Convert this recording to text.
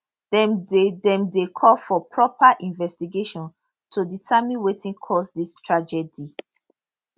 dem dey dem dey call for proper investigation to determine wetin cause dis tragedy